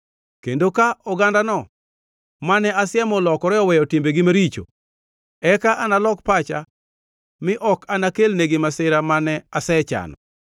kendo ka ogandano mane asiemo olokore oweyo timbegi maricho, eka analok pacha mi ok anakelnegi masira mane asechano.